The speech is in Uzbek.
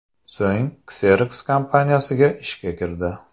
So‘ng Xerox kompaniyasiga ishga kirdi.